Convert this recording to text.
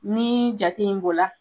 Ni jate in bo la